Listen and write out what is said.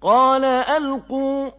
قَالَ أَلْقُوا ۖ